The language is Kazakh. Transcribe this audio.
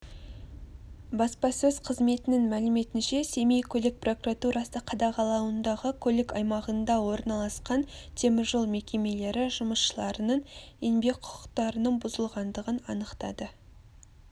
баспасөз қызметінің мәліметінше семей көлік прокуратурасықадағалауындағы көлік аймағында орналасқан теміржол мекемелері жұмысшыларының еңбек құқықтарының бұзылғандығын анықтады